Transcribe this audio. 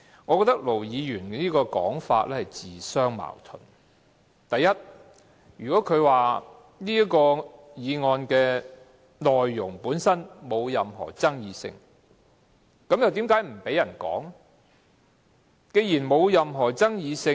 我認為盧議員的說法自相矛盾：第一，如果他認為"察悉議案"的內容毫無爭議性，那為何他不讓議員討論？